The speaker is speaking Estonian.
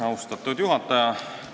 Austatud juhataja!